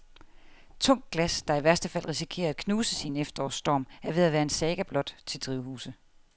Tungt glas, der i værste fald risikerer at knuses i en efterårsstorm, er ved at være en saga blot til drivhuse.